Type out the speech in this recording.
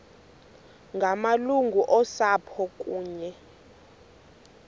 ngamalungu osapho kunye